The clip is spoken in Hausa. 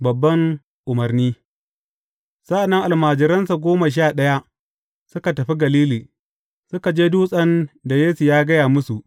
Babban umarni Sa’an nan almajiransa goma sha ɗaya, suka tafi Galili, suka je dutsen da Yesu ya gaya musu.